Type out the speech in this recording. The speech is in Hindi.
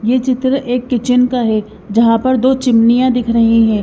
ये चित्र एक किचन का है जहां पर दो चिमनियां दिख रही हैं।